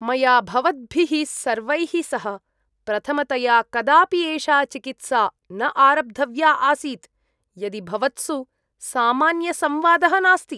मया भवद्भिः सर्वैः सह प्रथमतया कदापि एषा चिकित्सा न आरब्धव्या आसीत् यदि भवत्सु सामान्यसंवादः नास्ति।